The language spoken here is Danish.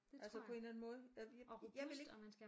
Altså på en eller anden måde jeg jeg vil ikke